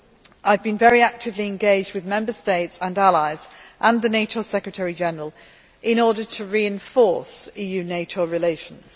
I have been very actively engaged with Member States and allies and the NATO Secretary General in order to reinforce EU NATO relations.